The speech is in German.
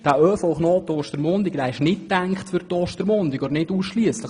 Dieser ist nicht für die Ostermundiger gedacht oder nicht ausschliesslich.